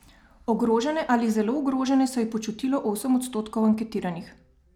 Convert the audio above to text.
Ogrožene ali zelo ogrožene se je počutilo osem odstotkov anketiranih.